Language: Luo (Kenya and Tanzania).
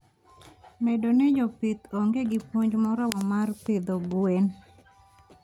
Bedo ni jopith onge gi puonj moromo mar pidho gwen.